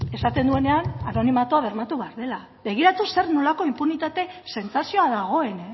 esaten duenean anonimatua bermatu behar dela begiratu zer nolako inpunitate sentsazioa dagoen